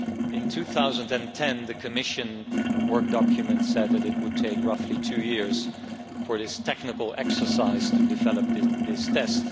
In 2010 the Commission work document said that it would take roughly two years for the technical exercise to develop this test